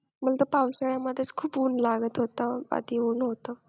मग पावसाळ्यामध्ये खूप ऊन लागत होतं आधी ऊन होतं